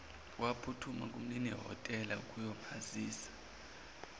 waphuthuma kumninihhotela ukuyomazisa